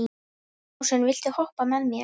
Ljósunn, viltu hoppa með mér?